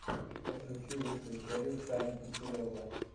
подключи лучшую серию сани киселева